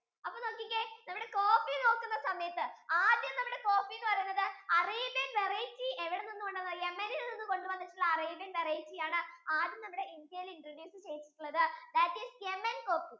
അപ്പൊ നോക്കിക്കേ നമ്മുടെ coffee നോക്കുന്ന സമയത്തു ആദ്യം നമ്മുടെ coffee എന്ന് പറയുന്നത് Arabianvariety എവിടെ നിന്ന് വന്നതാ yemen യിൽ നിന്ന് കൊണ്ട് വന്നിട്ടുള്ള Arabianvariety ആണ് ആദ്യം നമ്മുടെ India യിൽ introduce ചെയ്‌തട്ടുള്ളത് that isYamencoffee